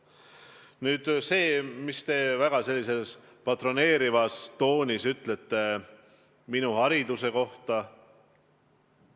Nüüd aga sellest, mida te väga patroneerivas toonis minu haridusest rääkisite.